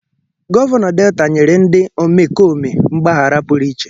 Gọvanọ Delta nyere dị omekome mgbaghara pụrụ iche.